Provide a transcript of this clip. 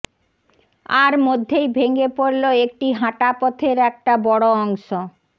আর মধ্যেই ভেঙে পড়ল একটি হাঁটাপথের একটা বড় অংশ